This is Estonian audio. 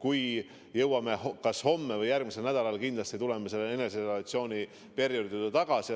kui jõuame, tuleme me kas homme või järgmisel nädalal kindlasti selle eneseisolatsiooni perioodi pikkuse juurde tagasi.